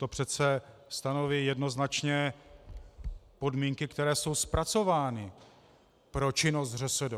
To přece stanoví jednoznačně podmínky, které jsou zpracovány pro činnost ŘSD.